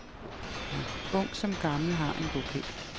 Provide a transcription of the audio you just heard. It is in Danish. Ung som gammel har en bopæl.